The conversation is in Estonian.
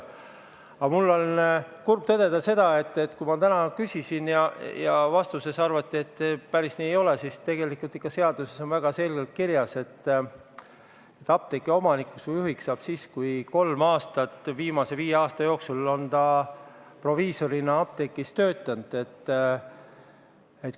Aga mul on kurb tõdeda seda, et kui ma täna küsisin ja vastates arvati, et päris nii ei ole, siis tegelikult ikka seaduses on väga selgelt kirjas, et apteegi omanikuks või juhiks saab siis, kui inimene on vähemalt kolm aastat viimase viie aasta jooksul proviisorina apteegis töötanud.